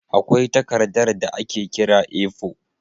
Akwai takardar da ake kira A4.